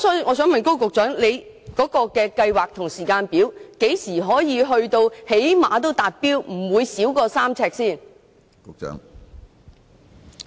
我想問高局長有何計劃及有關時間表，即何時可以達標，確保病床距離不會少於3呎？